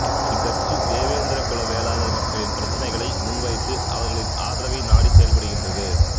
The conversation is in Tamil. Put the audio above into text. இக்கட்சி தேவேந்திர குல வேளாளர் மக்களின் பிரச்சினைகளை முன்வைத்து அவர்களின் ஆதரவை நாடிச் செயல்படுகின்றது